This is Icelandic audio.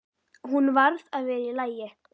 Hún varð að vera í lagi.